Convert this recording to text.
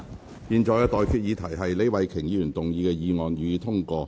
我現在向各位提出的待議議題是：李慧琼議員動議的議案，予以通過。